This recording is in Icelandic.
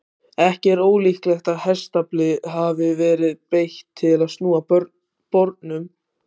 Ekki er ólíklegt að hestafli hafi verið beitt til að snúa bornum.